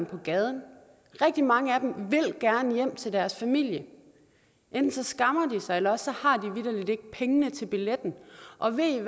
på gaden rigtig mange af dem vil gerne hjem til deres familie men enten skammer de sig eller også har de vitterlig ikke pengene til billetten og ved i